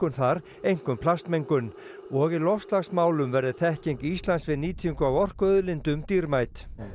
þar einkum plastmengun og í loftslagsmálum verði þekking Íslands við nýtingu á orkuauðlindum dýrmæt